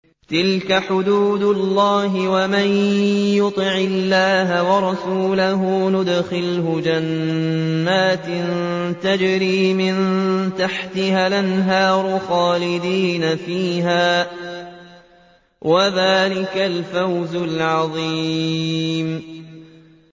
تِلْكَ حُدُودُ اللَّهِ ۚ وَمَن يُطِعِ اللَّهَ وَرَسُولَهُ يُدْخِلْهُ جَنَّاتٍ تَجْرِي مِن تَحْتِهَا الْأَنْهَارُ خَالِدِينَ فِيهَا ۚ وَذَٰلِكَ الْفَوْزُ الْعَظِيمُ